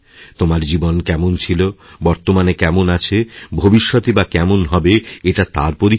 তোমার জীবন কেমন ছিল বর্তমানে কেমন আছভবিষ্যতই বা কেমন হবে এটা তার পরীক্ষা নয়